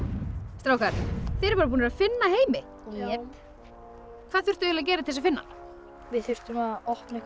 strákar þið eruð bara búnir að finna Heimi já hvað þurftuð þið að gera til þess að finna hann við þurftum að opna einhvern